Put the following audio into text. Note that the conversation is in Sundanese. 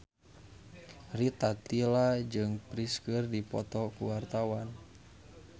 Rita Tila jeung Prince keur dipoto ku wartawan